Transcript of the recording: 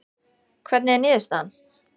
Hvernig er niðurstaðan?